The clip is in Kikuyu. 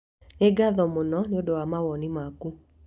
Nĩ ngatho mũno nĩ ũndũ wa mawoni maku.